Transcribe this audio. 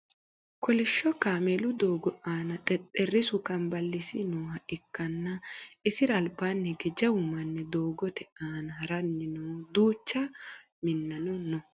kolishsho kameelu doogo aana xexxerrisu kanballisi nooha ikkanna isira albaanni hige jawu manni doogote aana haranni no duucha minnano no